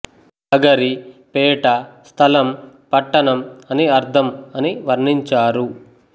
నగరి పేట స్థలం పట్టణం అని అర్థం అని వర్ణించారు